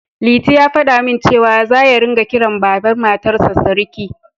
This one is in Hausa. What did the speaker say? Liti ya faɗa min cewa, za ya ringa kiran Baban Matarsa Siriki